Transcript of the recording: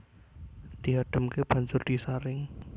Diadhemke banjur disaring